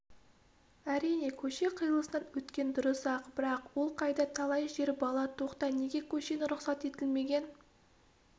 әрине көше қиылысынан өткен дұрыс-ақ бірақ ол қайда талай жер бала тоқта неге көшені рұқсат етілмеген